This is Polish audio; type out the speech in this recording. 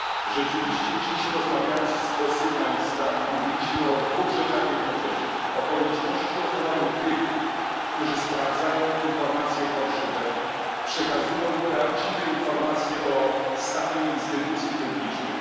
Rzeczywiście dziś, rozmawiając o sygnalistach, mówiliśmy o dwóch rzeczach jednocześnie o konieczności ochrony tych, którzy sprawdzają fałszywe informacje, przekazują prawdziwe informacje o stanie instytucji publicznych.